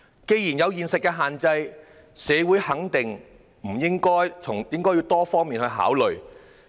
既然有現實的限制，社會是否願意從多方面考慮？